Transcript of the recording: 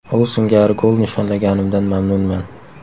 U singari gol nishonlaganimdan mamnunman.